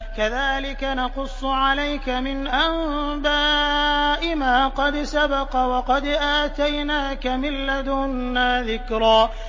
كَذَٰلِكَ نَقُصُّ عَلَيْكَ مِنْ أَنبَاءِ مَا قَدْ سَبَقَ ۚ وَقَدْ آتَيْنَاكَ مِن لَّدُنَّا ذِكْرًا